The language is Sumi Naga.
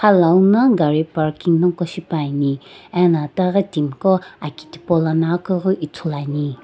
khalou na gari ko parking nako shipa ne ano timi gho aki tipolono akiighi ithulu ane.